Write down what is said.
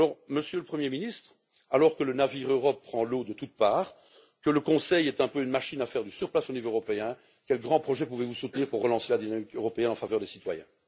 Monsieur le Premier ministre, alors que le navire Europe prend l'eau de toutes parts, que le Conseil est un peu une machine qui fait du surplace au niveau européen, quels grands projets pouvez vous soutenir pour relancer la dynamique européenne en faveur des citoyens?